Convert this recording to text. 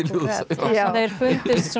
sem þeir fundust